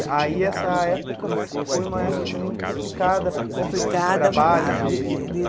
E aí essa época foi uma época também complicada complicada de trabalho. De de de